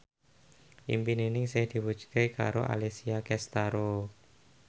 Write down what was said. impine Ningsih diwujudke karo Alessia Cestaro